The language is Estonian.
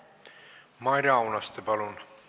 Maire Aunaste, palun!